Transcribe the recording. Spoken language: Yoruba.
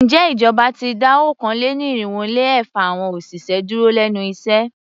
Ǹjẹ́ ìjọba ti dá okòó-lé-ní-irínwó-lé-ẹ̀fa awọn òṣìṣẹ́ dúró lénu iṣẹ́?